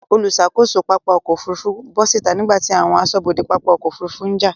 Olùṣàkóso pápá ọkọ̀ Òfurufú bọ́ síta nígbàtí àwọn aṣọ́bodè pápá ọkọ̀ Òfurufú ń jà.